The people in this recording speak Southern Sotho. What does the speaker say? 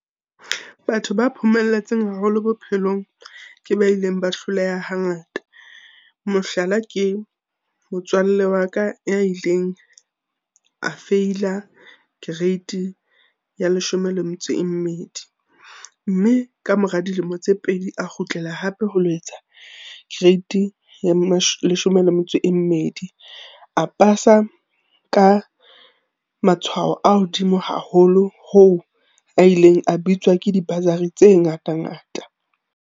Batho ba phomelletseng haholo bophelong, ke ba ileng ba hloleha hangata. Mohlala ke motswalle wa ka ya ileng a feila grade ya leshome le metso e mmedi. Mme ka mora dilemo tse pedi a kgutlela hape ho lo etsa grade ya leshome le metso e mmedi. A pasa ka matshwao a hodimo haholo ho a ileng a bitswa ke di-bursary tse ngata-ngata.